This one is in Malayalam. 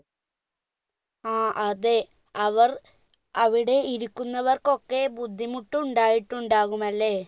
ആ അതെ അവർ അവിടെ ഇരിക്കുന്നവർക്കൊക്കെ ബുദ്ധിമുട്ടുണ്ടായിട്ടുണ്ടാകുമല്ലേ